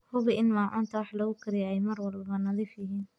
Hubi in maacuunta wax lagu kariyo ay mar walba nadiif yihiin.